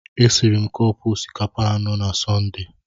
E siri m cọpu osikapa anọ na Sọnde.